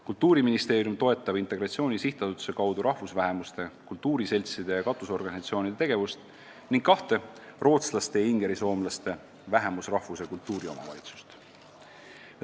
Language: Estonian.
Kultuuriministeerium toetab Integratsiooni SA kaudu rahvusvähemuste kultuuriseltside ja katusorganisatsioonide tegevust ning kahte – rootslaste ja ingerisoomlaste – vähemusrahvus- ja kultuuriomavalitsust.